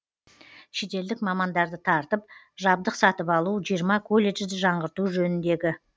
шетелдік мамандарды тартып жабдық сатып алу жиырма колледжді жаңғырту жөніндегі